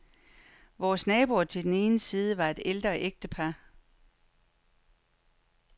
Vores naboer til den ene side var et ældre ægtepar.